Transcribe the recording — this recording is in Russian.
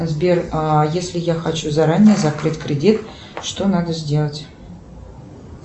сбер если я хочу заранее закрыть кредит что надо сделать